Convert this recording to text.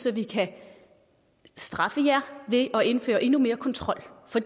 at vi kan straffe jer ved at indføre endnu mere kontrol for